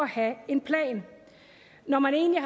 have en plan når man egentlig